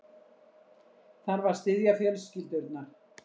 Þarf að styðja fjölskyldurnar